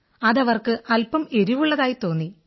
അതവർക്ക് അൽപം എരിവുള്ളതായി തോന്നി